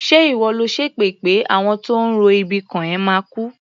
Ṣé ìwọ lò ń ṣépè pé àwọn tó ń ro ibi kàn ẹ́ máa kú?